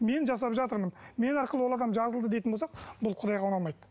мен жасап жатырмын мен арқылы ол адам жазылды дейтін болсақ бұл құдайға ұнамайды